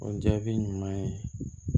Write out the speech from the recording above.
O jaabi ɲuman ye